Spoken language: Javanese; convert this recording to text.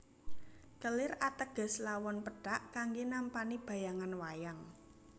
Kelir ateges lawon pethak kanggé nampani bayangan wayang